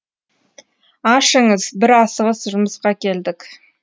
ашыңыз бір асығыс жұмысқа келдік